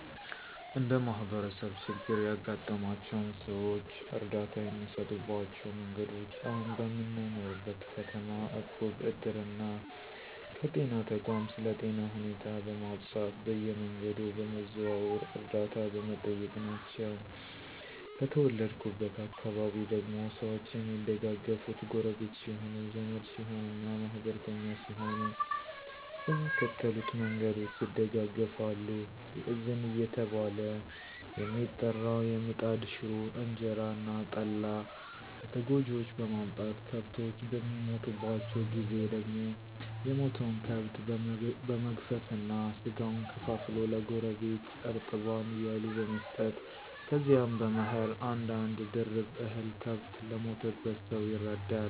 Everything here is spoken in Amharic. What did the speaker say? እንደ ማህበረሰብ ችግር ያጋጠማቸውን ሰዎች እርዳታ የሚሰጡባቸው መንገዶች አሁን በምኖርበት ከተማ እቁብ፣ እድር እና ከጤና ተቋም ስለ ጤና ሁኔታ በማፃፍ በየመንገዱ በመዘዋወር ዕርደታ በመጠየቅ ናቸው። ከተወለድኩበት አካባቢ ደግሞ ሰዎች የሚደጋገፋት ጎረቢት ሲሆኑ፣ ዘመድ ሲሆኑ እና ማህበርተኛ ሲሆኑ በሚከተሉት መንገዶች ይደጋገፋሉ። የእዝን እየተባለ የሚጠራው የምጣድ ሽሮ፣ እንጀራ እና ጠላ ለተጎጅዎች በማምጣት፤ ከብቶች በሚሞቱባቸው ጊዜ ደግሞ የሞተውን ከብት በመግፈፍ እና ስጋውን ከፋፍሎ ለጎረቢት እርጥባን እያሉ በመስጠት ከዚያም በመኸር አንድ አንድ ድርብ እህል ከብት ለሞተበት ሰው ይረዳል።